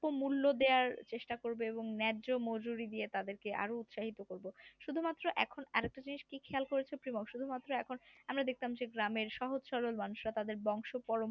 মূল্য দেওয়ার চেষ্টা করব এবং ন্যায্য মজুরি দিয়ে তাদেরকে আরো উৎসাহিত করব। শুধুমাত্র এখন আর একটা জিনিস কি খেয়াল করেছো যে বছরে মাত্র এখন আমরা দেখতাম গ্রামের সহজ সরল মানুষরা তাদের বংশপরম্পরায়